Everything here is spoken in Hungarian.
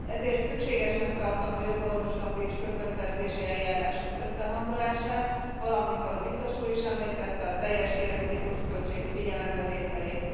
Ezért szükségesnek tartom a jogorvoslati és közbeszerzési eljárások összehangolását, valamint, ahogy biztos úr is említette, a teljes életciklusköltség figyelembevételét.